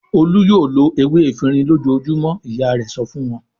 "Olú yóò lo ewé efirin lójoojúmọ́!" Ìyá rẹ̀ sọ fún wọn.